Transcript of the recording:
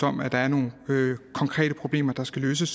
om at der er nogle konkrete problemer der skal løses